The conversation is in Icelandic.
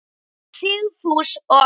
Sigfús og Arna.